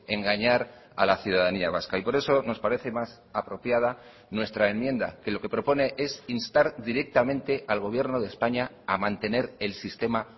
engañar a la ciudadanía vasca y por eso nos parece más apropiada nuestra enmienda que lo que propone es instar directamente al gobierno de españa a mantener el sistema